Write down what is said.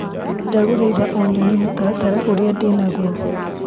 Ndagũthaitha ũnyonie mũtaratara ũria ndĩnaguo.